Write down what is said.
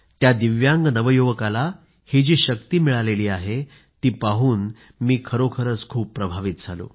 त्या दिव्यांग नवयुवकाच्या शक्तीने मी खरोखरीच खूप प्रभावित झालो